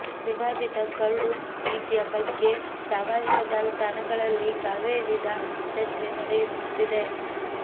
ವಿವಾದಿತ ಕರಡು ನೀತಿಯ ಬಗ್ಗೆ ಸಾಮಾಜಿಕ ಜಾಲ ತಾಣಗಳಲ್ಲಿ ಕಾವೇರಿದ ಚರ್ಚೆ ನಡೆಯುತ್ತಿದೆ